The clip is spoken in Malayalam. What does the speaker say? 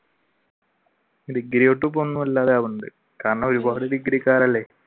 ഡിഗ്രി തൊട്ട് ഇപ്പൊ ഒന്നുമല്ലാതെ ആവുന്നുണ്ട് കാരണം ഒരുപാട് ഡിഗ്രിക്കാർ അല്ലെ.